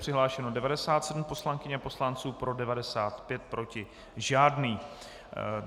Přihlášeno 97 poslankyň a poslanců, pro 95, proti žádný.